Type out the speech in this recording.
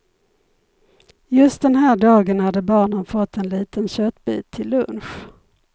Just den här dagen hade barnen fått en liten köttbit till lunch.